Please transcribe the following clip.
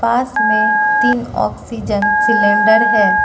पास में तीन oxygen cylinder है।